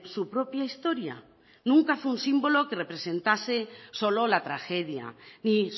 su propia historia nunca fue un símbolo que representase solo la tragedia y